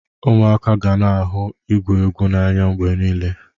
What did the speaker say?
Ụmụaka ga-na ahụ igwụ egwụ n'anya mgbe niile.